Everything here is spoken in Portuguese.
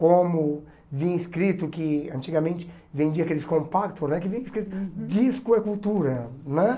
como vinha escrito, que antigamente vendia aqueles compactos, não é que vinha escrito, disco é cultura, né?